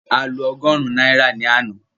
A lo ọgọ́rùn-ún náírà ní àná